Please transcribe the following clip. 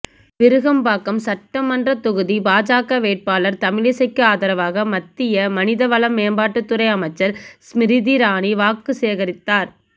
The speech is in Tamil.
விருகம்பாக்கம் சட்டமன்ற தொகுதி பாஜக வேட்பாளர் தமிழிசைக்கு ஆதரவாக மத்திய மனித வளமேம்பாட்டுத்துறை அமைச்சர் ஸ்ம்ரிதி ராணி வாக்கு சேகரித்தார்